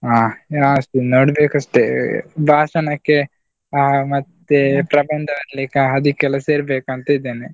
ಅಹ್ last ನೋಡ್ಬೇಕಷ್ಟೆ ಅಹ್ ಭಾಷಣಕ್ಕೆ ಅಹ್ ಪ್ರಬಂಧ ಬರೆಯಲಿಕ್ಕೆ ಅದಿಕ್ಕೆಲ್ಲ ಸೇರ್ಬೇಕು ಅಂತ ಇದ್ದೇನೆ.